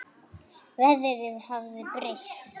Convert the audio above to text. Veðrið hafði breyst.